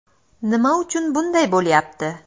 Nima uchun bunday bo‘lyapti?